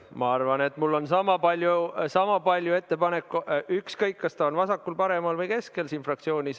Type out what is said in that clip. Ma arvan, et mul on sama palju ettepanekuid, ükskõik kas keegi on vasakul, paremal või keskel.